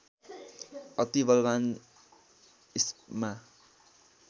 अति बलवान् इस्मा